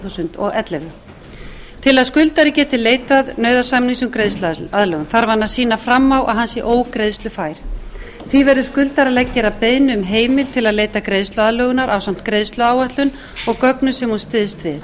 þúsund og ellefu til að skuldari geti leitað nauðasamnings um greiðsluaðlögun þarf hann að sýna fram á að hann sé ógreiðslufær því verður skuldari að gera beiðni um heimild til að leita greiðsluaðlögunar ásamt greiðsluáætlun og gögnum sem hann styðst við